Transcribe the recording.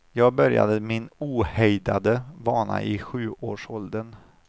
Jag började min ohejdade vana i sjuårsåldern.